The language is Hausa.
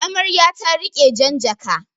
Amarya ta riƙi jan jaka.